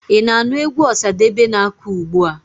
Ị na-anụ egwu Ọsadebe na-akụ ugbua.